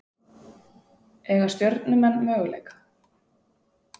Eiga Stjörnumenn möguleika?